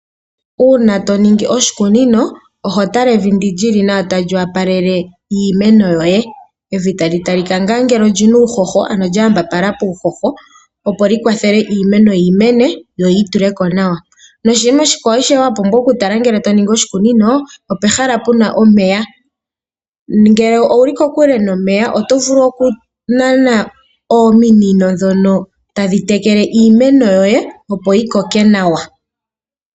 Uuna toningi oshikunino oho tala evi ndi lili nawa tali wopalele iimeno yoye. Evi tali talika ngaa ngele olina uuhoho ano lyawambapala puuhoho opo likwathele iimeno yimene yoyi tuleko nawa. Noshinima oshikwawo wa pumbwa okutala ngele toningi oshikunino opehala puna omeya, ngele owuli kokule nomeya oto vulu okunana ominino dhono tadhitekele iimeno yoye opo yikoke nawa.